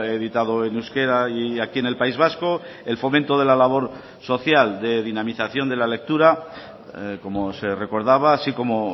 editado en euskera y aquí en el país vasco el fomento de la labor social de dinamización de la lectura como se recordaba así como